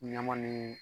Ɲama ni